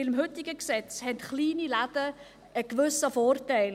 – Mit dem heutigen Gesetz haben kleine Läden einen gewissen Vorteil.